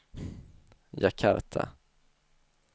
Jakarta